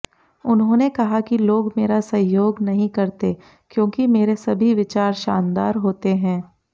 उन्होंने कहा कि लोग मेरा सहयोग नहीं करते क्योंकि मेरे सभी विचार शानदार होते हैं